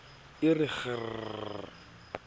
e re kg kg kgrr